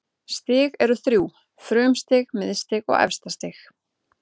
Stig eru þrjú: frumstig, miðstig og efstastig.